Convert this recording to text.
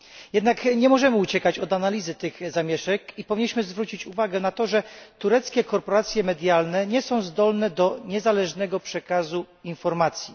Jednak nie możemy uciekać od analizy tych zamieszek i powinniśmy zwrócić uwagę na to, że tureckie korporacje medialne nie są zdolne do niezależnego przekazu informacji.